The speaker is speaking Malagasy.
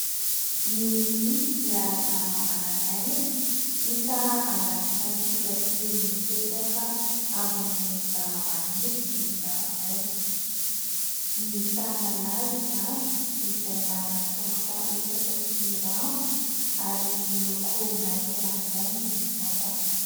Ny biby dia zavamananaina hita anaty natiora sy mipetraka ambony zavamaniry toy ny zava-maitso ; ny tanalahy izany, izay manana tongotra efatra sy rambony, ary miloko maitso ranoray ny vatany.